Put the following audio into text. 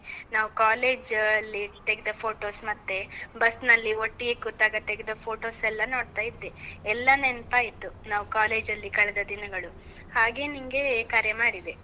ನಾವ್ college ಅಲ್ಲಿ ತೆಗೆದ photos ಮತ್ತೆ, ಬಸ್ನಲ್ಲಿ ಒಟ್ಟಿಗೆ ಕೂತಾಗ ತೆಗೆದ photos ಎಲ್ಲಾ ನೋಡ್ತಾ ಇದ್ದೆ. ಎಲ್ಲ ನೆನ್ಪಾಯ್ತು, ನಾವ್ college ಅಲ್ಲಿ ಕಳೆದ ದಿನಗಳು. ಹಾಗೇ ನಿಂಗೆ ಕರೆ ಮಾಡಿದೆ.